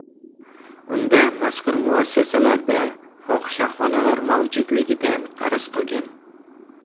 Unda mazkur muassasalarda fohishaxonalar mavjudligidan arz qilingan.